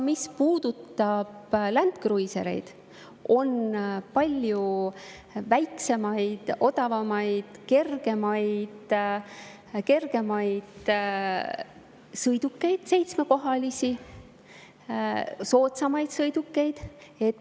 Mis puudutab Land Cruisereid, siis on palju väiksemaid, odavamaid, kergemaid seitsmekohalisi sõidukeid.